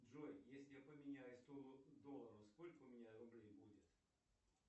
джой если я поменяю сто долларов сколько у меня рублей будет